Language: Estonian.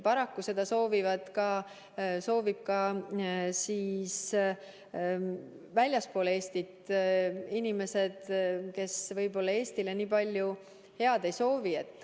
Paraku seda soovivad ka väljaspool Eestit inimesed, kes võib-olla Eestile nii palju head ei soovi.